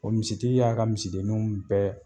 O misitigi y'a ka misidenninw bɛɛ